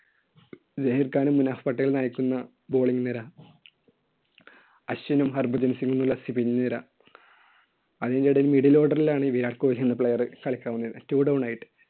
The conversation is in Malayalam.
സഹീർ ഖാനും മുനാഫ് പട്ടേലും നയിക്കുന്ന ബോളിങ് നിര. അശ്വിനും ഹർഭജൻ സിങ്ങുമുള്ള പിൻനിര. അതിന്‍റെ ഇടയിൽ middle order ലാണ് ഈ വിരാട് കോഹ്ലി എന്ന player കളിക്കാന്‍ വന്നിരുന്ന്. two down ആയിട്ട്.